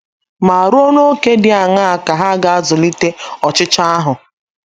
Ma ruo n’ókè di aṅaa ka ha ga - azụlite ọchịchọ ahụ?